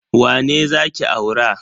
Wane za ki aura?